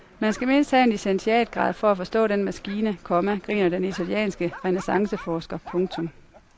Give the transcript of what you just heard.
Man skal mindst have en licentiatgrad for at forstå den maskine, komma griner den italienske renæssanceforsker. punktum